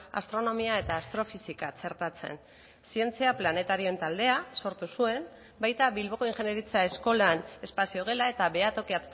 astronomia eta astrofisika txertatzen zientzia planetarioen taldea sortu zuen baita bilboko ingeniaritza eskolan espazio gela eta behatoki